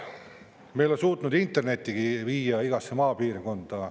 Me ei ole suutnud internettigi viia igasse maapiirkonda.